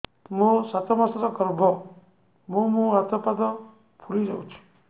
ମୋ ସାତ ମାସର ଗର୍ଭ ମୋ ମୁହଁ ହାତ ପାଦ ଫୁଲି ଯାଉଛି